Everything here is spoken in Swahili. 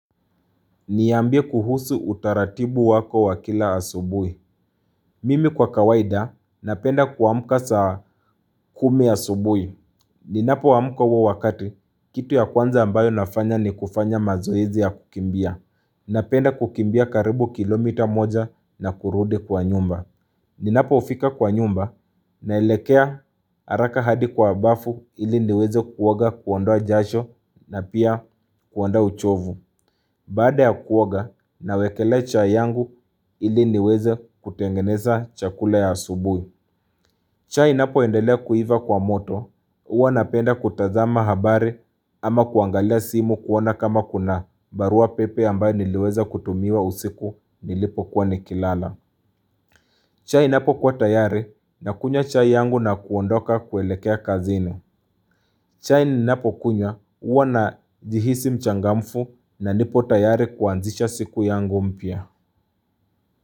Niambie kuhusu utaratibu wako wakila asubui. Mimi kwa kawaida napenda kuamka saa kumi asubui. Ninapo amuka uo wakati, kitu ya kwanza ambayo nafanya ni kufanya mazoezi ya kukimbia. Napenda kukimbia karibu kilomita moja na kurudi kwa nyumba. Ninapofika kwa nyumba na elekea araka hadi kwa bafu ili niweze kuoga kuondoa jasho na pia kuondoa uchovu. Baada ya kuoga na wekelea chai yangu ili niweze kutengeneza chakula ya asubui. Chai napo endelea kuiva kwa moto, uwa napenda kutazama habari ama kuangalia simu kuona kama kuna barua pepe ambayo niliweza kutumiwa usiku nilipo kuwa nikilala. Chai inapo kuwa tayari na kunywa chai yangu na kuondoka kuelekea kazini. Chaini napo kunya uwa na jihisi mchangamfu na nipo tayari kuanzisha siku yangu mpya.